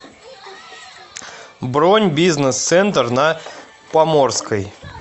бронь бизнес центр на поморской